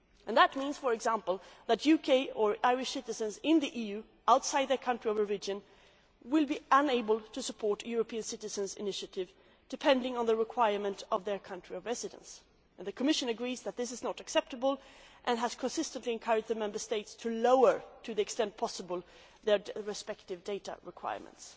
That means, for example, that UK or Irish citizens in the EU but outside their country of origin may be unable to support a European Citizens' Initiative, depending on the requirements of their country of residence. The Commission agrees that this is not acceptable and has consistently encouraged the Member States to lower, as far as possible, their respective data requirements.